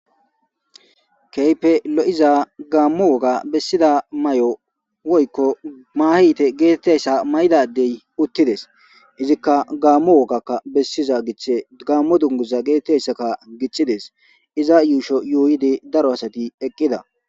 keype lo7iza gaammu woga bessida may7o woykko maahite geetettessa may7dadey uttides izikka gaammu wogakka bessiza giche gammo dunguza geetetteyssaka giccides iza yuusho yuuyidi daro asati eqqida